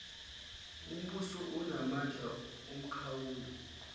ombuso anamandla omkhawulo